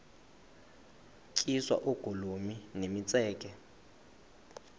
tyiswa oogolomi nemitseke